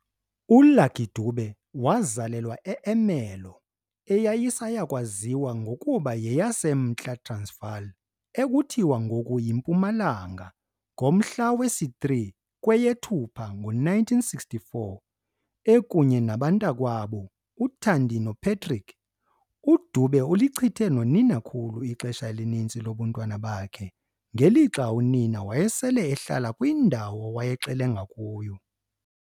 ULucky Dube wazalelwa eErmelo, eyayisayakwaziwa ngokuba yeyaseMntla Transvaal, ekuthiwa ngoku yiMpumalanga, ngomhla wesi-3 kweyeThupha ngo1964. Ekunye nabantakwabo, uThandi noPatrick, uDube ulichithe noninakhulu ixesha elininzi lobuntwana bakhe, ngelixa unina wayesele ehlala kwindawo awayexelenga kuyo.